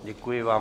Děkuji vám.